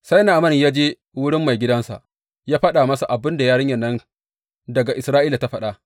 Sai Na’aman ya je wurin maigidansa ya faɗa masa abin da yarinyan nan daga Isra’ila ta faɗa.